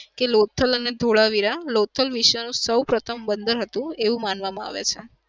કે લોથલ અને ધોળાવીરા લોથલ વિશાળ સૌ પ્રથમ બંદર હતું એવું માનવામાં આવે છે.